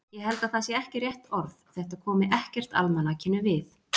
Ég held að það sé ekki rétt orð, þetta komi ekkert almanakinu við.